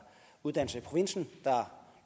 uddannelser i provinsen der